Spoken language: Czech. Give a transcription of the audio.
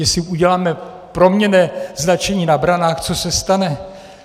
Jestli uděláme proměnné značení na branách, co se stane?